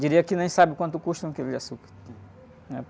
Diria que nem sabe o quanto custa um quilo de açúcar.